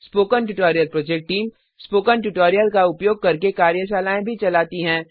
spoken tutorial project team spoken tutorial का उपयोग करके कार्यशालाएँ भी चलाती हैं